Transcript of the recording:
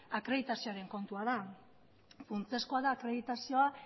akreditazioaren kontua da funtsezkoa da akreditazioa